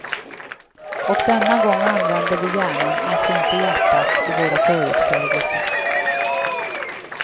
Och denna gång använder vi hjärnan, alltså inte hjärtat, i våra förutsägelser.